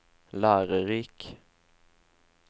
lærerik